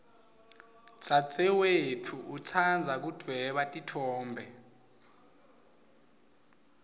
dzadzewetfu utsandza kudvweba titfombe